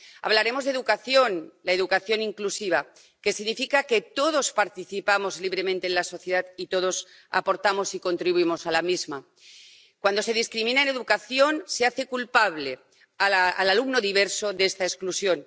Hablaremos de educación —la educación inclusiva—, que significa que todos participamos libremente en la sociedad y todos aportamos y contribuimos a la misma. Cuando se discrimina en educación se hace culpable al alumno diverso de esta exclusión